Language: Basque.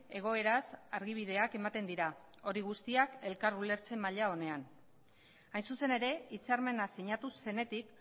egoeraz argibideak ematen dira hori guztiak elkar ulertzen maila onean hain zuzen ere hitzarmena sinatu zenetik